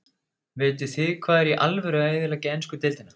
Vitið þið hvað er í alvöru að eyðileggja ensku deildina?